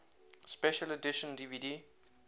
special edition dvd